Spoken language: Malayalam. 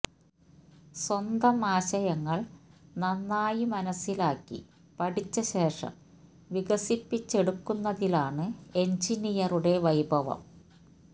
സ്വന്തം ആശയങ്ങള് നന്നായി മനസിലാക്കിയ പഠിച്ച ശേഷം വികസിപ്പിച്ചെടുക്കുന്നതിലാണ് എന്ജിനിയറുടെ വൈഭവം